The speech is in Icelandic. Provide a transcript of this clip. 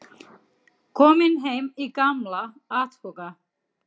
Kominn heim í gamla átthaga.